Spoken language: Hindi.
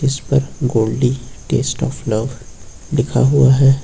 इसपर गोल्डी टेस्ट ऑफ लव लिखा हुआ है।